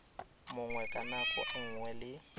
mongwe ka nako nngwe le